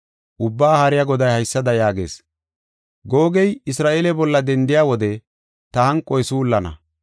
Ubbaa Haariya Goday haysada yaagees: ‘Googey Isra7eele bolla dendiya wode ta hanqoy suullana.